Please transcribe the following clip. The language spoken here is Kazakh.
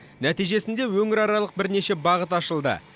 нәтижесінде өңіраралық бірнеше бағыт ашылды